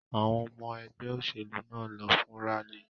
Àwọn ọmọ ẹgbẹ́ òṣèlú náà lọ fún rálì.